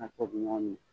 A tubabu nɔgɔ mi